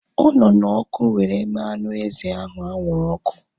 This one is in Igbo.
Ọ nọ na ọkụ were mee anụ ezi ahụ anwụrụ ọkụ